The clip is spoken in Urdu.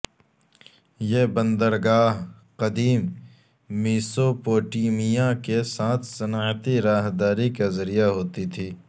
یہ بندرگاہ قدیم میسوپوٹیمیا کے ساتھ صنعتی راہداری کا ذریعہ ہوتی تھی